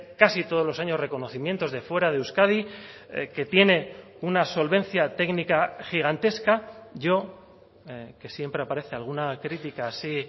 casi todos los años reconocimientos de fuera de euskadi que tiene una solvencia técnica gigantesca yo que siempre aparece alguna crítica así